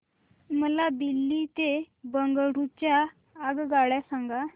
मला दिल्ली ते बंगळूरू च्या आगगाडया सांगा